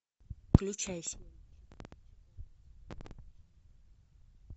включай